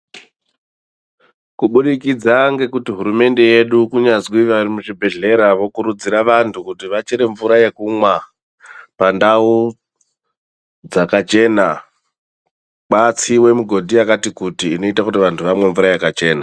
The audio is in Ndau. Kubudikidza ngekuti hurumende yedu kunyazwi vari muzvibhehlera vokurudzira vantu kuti vachere mvura yekumwa pandau dzakachena, kwatsiwa migodhi yakati kuti kuti vantu vamwe mvura yakachena.